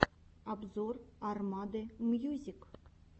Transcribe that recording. обзор армады мьюзик